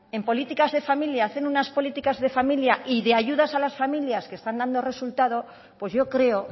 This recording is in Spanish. en políticas de familia hacen unas políticas de familia y de ayudas a las familias que están dando resultado pues yo creo